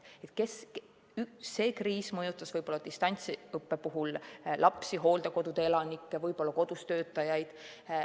See kriis mõjutas distantsõppe kaudu lapsi, hooldekodude elanikke, võib-olla ka kodus töötajaid.